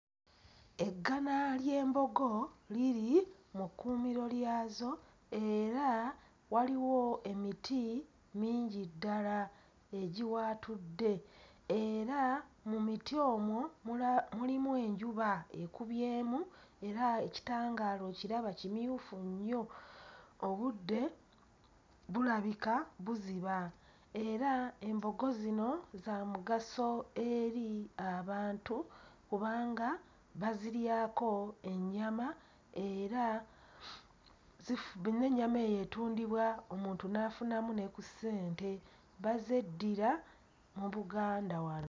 Eggana ly'embogo liri mu kkuumiro lyazo era waliwo emiti mingi ddala egiwaatudde era mu miti omwo mula mulimu enjuba ekubyemu era ekitangaala okiraba kimyufu nnyo, obudde bulabika buziba era embogo zino za mugaso eri abantu kubanga baziryako ennyama era zifu n'ennyama eyo etundibwa omuntu n'afunamu ne ku ssente, bazeddira mu Buganda wano.